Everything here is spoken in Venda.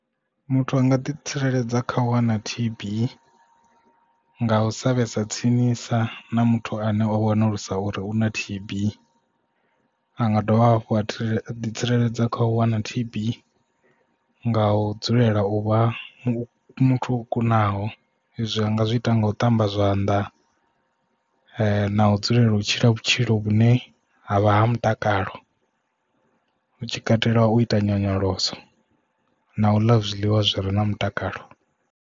Muthu anga ḓi tsireledza kha u wana T_B nga u sa vhesa tsinisa na muthu ane o wanulusa uri una T_B. A nga dovha hafhu a tsireledz ḓi tsireledza kha u wana T_B nga u dzulela u vha muthu o kunaho izwi anga zwi ita nga u ṱamba zwanḓa na u dzulela u tshila vhutshilo vhune havha ha mutakalo u tshi katela u ita nyonyoloso na u ḽa zwiḽiwa zwi re na mutakalo.